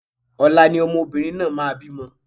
Ọ̀la ni obìnrin náà máa bí mo